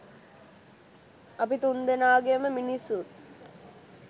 අපි තුන්දෙනාගෙම මිනිස්සුත්